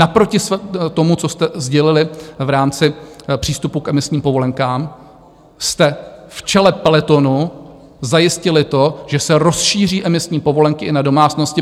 Naproti tomu, co jste sdělili v rámci přístupu k emisním povolenkám, jste v čele pelotonu zajistili to, že se rozšíří emisní povolenky i na domácnosti.